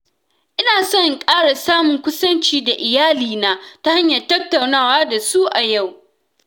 Ina son in ƙara samun kusanci da iyalina ta hanyar tattaunawa da su a yau.